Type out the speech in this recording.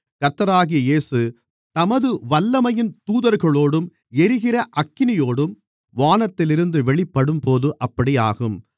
கர்த்தராகிய இயேசு தமது வல்லமையின் தூதர்களோடும் எரிகிற அக்கினியோடும் வானத்திலிருந்து வெளிப்படும்போது அப்படியாகும்